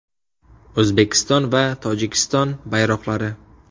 O‘zbekiston va Tojikiston bayroqlari.